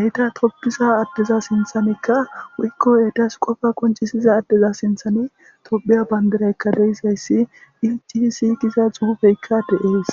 eita toppisa addeza sinthanekka wuykko eetas qofa koncisiza addeza sinthani tophiya bandiraykka deisayssi ici si giza xuhufeykka deees